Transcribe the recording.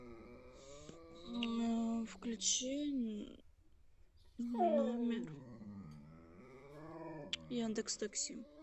включи номер яндекс такси